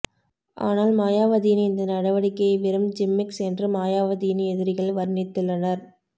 ஆனால் மாயாவதியின் இந்த நடவடிக்கையை வெறும் ஜிம்மிக்ஸ் என்று மாயாவதியின் எதிரிகள் வர்ணித்துள்ளனர்